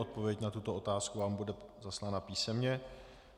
Odpověď na tuto otázku vám bude zaslána písemně.